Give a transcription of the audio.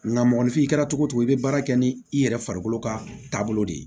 Nga mɔgɔninfin kɛra cogo o cogo i bɛ baara kɛ ni i yɛrɛ farikolo ka taabolo de ye